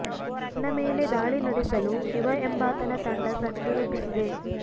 ನನ್ನ ಮೇಲೆ ದಾಳಿ ನಡೆಸಲು ಶಿವ ಎಂಬಾತನ ತಂಡ ಸಂಚು ರೂಪಿಸಿದೆ